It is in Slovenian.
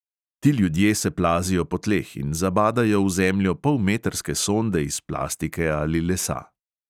Ti ljudje se plazijo po tleh in zabadajo v zemljo polmetrske sonde iz plastike ali lesa.